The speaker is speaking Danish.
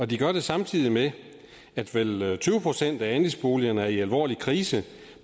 de gør det samtidig med at vel tyve procent af andelsboligerne er i alvorlig krise